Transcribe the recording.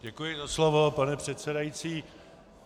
Děkuji za slovo, pane předsedající.